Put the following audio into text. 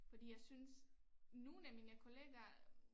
Fordi jeg synes nogen af mine kollegaer